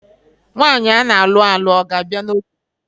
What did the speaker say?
Nwaanyi ana alụ alụ a ga-abịa na oge?